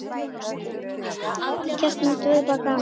Kjartan: Þetta verður bara gaman?